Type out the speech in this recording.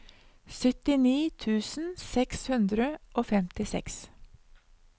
syttini tusen seks hundre og femtiseks